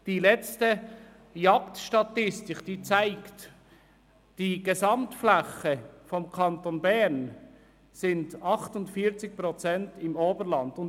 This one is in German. Die letzte Jagdstatistik weist 48 Prozent der gesamten Jagdfläche im Kanton Bern im Oberland aus.